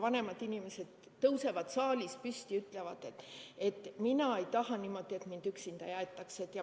Vanemad inimesed tõusevad saalis püsti ja ütlevad, et mina ei taha, et mind üksinda jäetakse.